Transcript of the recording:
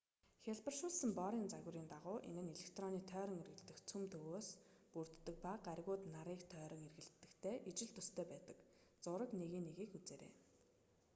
хялбаршуулсан борын загварын дагуу энэ нь электрон тойрон эргэлдэх төв цөмөөс бүрддэг ба гаригууд нарыг тойрон эргэлддэгтэй ижил төстэй байдаг зураг 1.1-ийг үзээрэй